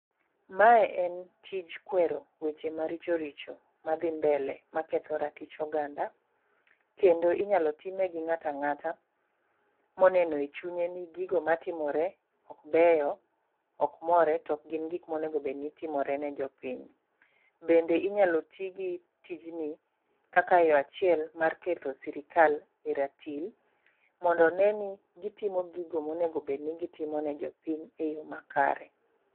Mae en tij kwero weche maricho richo madhi mbele maketho ratich oganda kendo inyalo time gi ng'ata ng'ata moneno e chunye ni gigo matimore ok beyo, ok more tok gin gik monego bed ni timore ne jopiny. Bende inyalo tigi tijni kaka yoo achiel mar keto sirikal e ratil mondo one ni gitimo gigo monego bedni gitimo ne jopiny e yoo makare.